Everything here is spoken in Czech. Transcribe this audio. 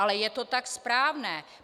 Ale je to tak správné.